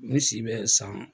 Ne si bɛ san.